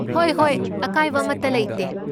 ꯍꯣꯏ ꯍꯣꯏ! ꯑꯀꯥꯏꯕ ꯑꯃꯠꯇ ꯂꯩꯇꯦ꯫